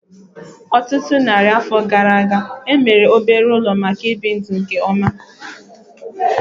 Ọtụtụ narị afọ gara aga, e mere obere ụlọ maka ibi ndụ nke ọma